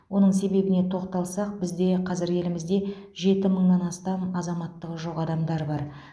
оның себебіне тоқталсақ бізде қазір елімізде жеті мыңнан астам азаматтығы жоқ адамдар бар